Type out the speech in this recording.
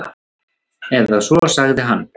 Eða svo sagði hann.